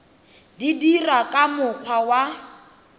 di dirwa ka mokgwa wa